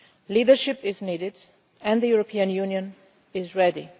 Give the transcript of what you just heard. Europeans. Leadership is needed, and the European Union